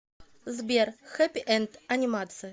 сбер хэппи энд анимация